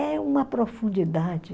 É uma profundidade.